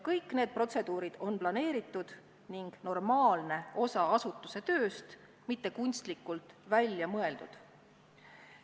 Kõik need protseduurid on planeeritud ning normaalne osa asutuse tööst, mitte kunstlikult välja mõeldud.